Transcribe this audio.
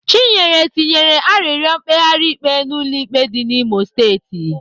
Chinyere tinyere arịrịọ mkpegharị ikpe n'ụlọ ikpe dị n'Imo steeti.